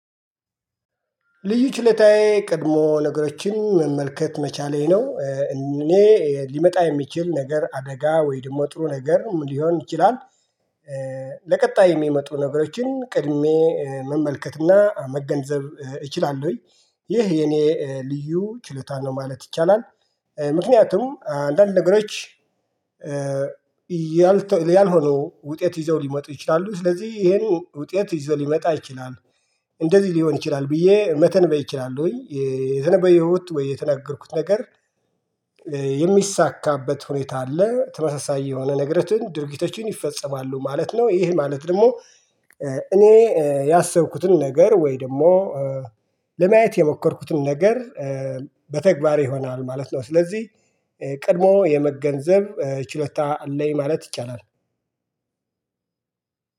ልዩ ችለታዬ ቀድሞ ነገሮችን መመልከት መቻሌ ነው እኔ ሊመጣ የሚችል ነገር አደጋ ወይ ደግሞ ጥሩ ነገር ሊሆን ይችላል ለቀጣይ የሚመጡ ነገሮችን ቅድሜ መመልከትና መገንዘብ እችላለሁኝ። ይህ የኔ ልዩ ችሎታ ነው ማለት ይቻላል። ምክንያቱም አንዳንድ ነገሮች ያልሆኑ ውጤት ይዘው ሊመጡ ይችላሉ ስለዚህ ይሄን ውጤት ይዘው ሊመጣ ይችላል። እንደዚህ ሊሆን ይችላል ብዬ መተንበይ እችላለሁኝ። የተነበየሁት ወይ የተነገርኩት ነገር የሚሳካበት ሁኔታ አለ ተመሳሳይ የሆነ ነገርን ድርጊቶችን ይፈጸማሉ ማለት ነው። ይህ ማለት ደግሞ እኔ ያሰብኩትን ነገር ወይ ደግሞ ለማየት የሞከርኩትን ነገር በተግባር ይሆናል ማለት ነው። ስለዚህ ቀድሞ የመገንዘብ ችሎታ አለኝ ማለት ይቻላል።